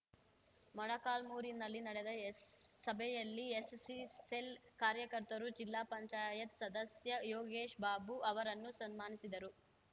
ಮೊಳಕಾಲ್ಮುರಿನಲ್ಲಿ ನಡೆದ ಎಸ್ ಸಭೆಯಲ್ಲಿ SC cell ಕಾರ್ಯಕರ್ತರು ಜಿಲ್ಲಾ ಪಂಚಾಯತ್ ಸದಸ್ಯ ಯೋಗೇಶ್ ಬಾಬು ಅವರನ್ನು ಸನ್ಮಾನಿಸಿದರು